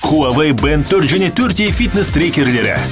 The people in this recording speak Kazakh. хуавей бэнд төрт және төрт е фитнес трекерлері